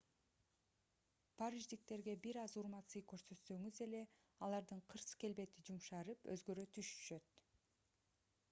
париждиктерге бир аз урмат-сый көрсөтсөңүз эле алардын кырс келбети жумшарып өзгөрө түшүшөт